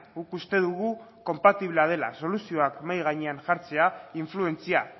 guk uste dugu konpatiblea dela soluzioak mahai gainean jartzea influentzia